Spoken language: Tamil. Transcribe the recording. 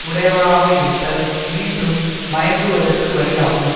உடையவராக இருத்தல் மீண்டும் மயங்குவதற்கு வழியாகும்